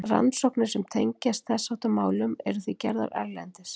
rannsóknir sem tengjast þess háttar málum eru því gerðar erlendis